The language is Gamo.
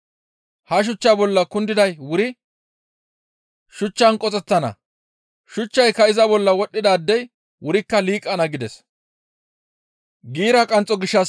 Ha shuchchaa bolla kundiday wuri shuchchaan qoxettana; shuchchayka iza bolla wodhdhidaadey wurikka liiqana» gides.